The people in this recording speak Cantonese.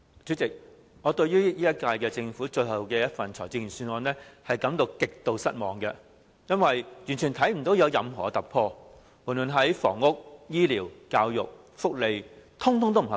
主席，我對本屆政府最後一份財政預算案感到極度失望，因為完全看不到有任何突破，無論在房屋、醫療、教育或福利等方面，全都不合格。